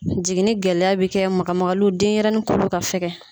Jiginni gɛlɛya bɛ kɛ maga magaliw denɲɛrɛnin kolo ka fɛkɛ.